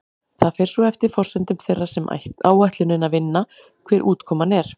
Það fer svo eftir forsendum þeirra sem áætlunina vinna hver útkoman er.